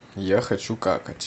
я хочу какать